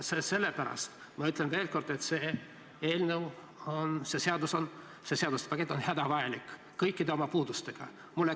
Ja sellepärast ütlen ma veel kord, et see seaduste pakett on hädavajalik kõikide oma puudustega.